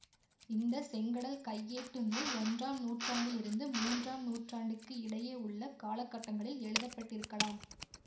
இந்த செங்கடல் கையேட்டு நூல் ஒன்றாம் நூற்றாண்டிலிருந்து மூன்றாம் நூற்றாண்டுக்கு இடையே உள்ள காலக்கட்டங்களில் எழுதப்பட்டிருக்கலாம்